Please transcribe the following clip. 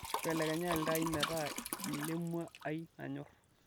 mbelekenya iltaai meetaa ilemua ai nanyor